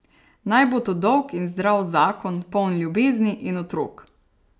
Naj bo to dolg in zdrav zakon, poln ljubezni in otrok.